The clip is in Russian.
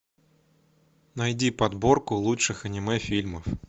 найди подборку лучших аниме фильмов